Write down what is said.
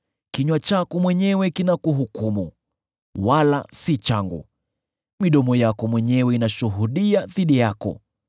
Kinywa chako mwenyewe kinakuhukumu, wala si changu; midomo yako mwenyewe inashuhudia dhidi yako.